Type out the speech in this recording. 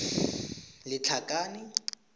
lethakane